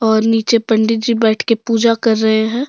और नीचे पंडित जी बैठके पूजा कर रहे हैं।